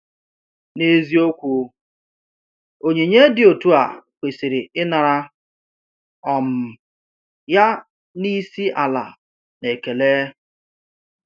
N’eziokwu, onyinye dị otu a kwesịrị inara um ya n’isi ala na ekele.